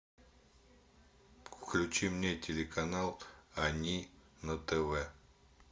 включи мне телеканал они на тв